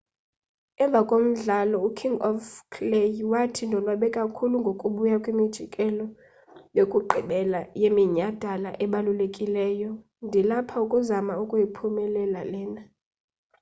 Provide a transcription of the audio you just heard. emva komdlalo uking of clay wathi ndonwabe kakhulu ngokubuya kwimjikelo yokugqibela yeminyadala ebalulekileyo ndilapha ukuzama ukuyiphumelela lena